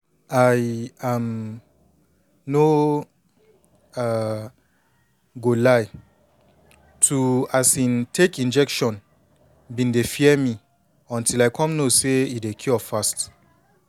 i um no um go lie to um take injection been dey fear until i come know say e dey cure fast